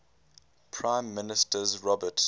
prime minister robert